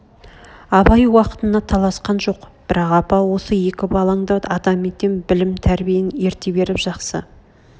абай уақытына таласқан жоқ бірақ апа осы екі балаңды адам етем білім тәрбиен ерте беріп жақсы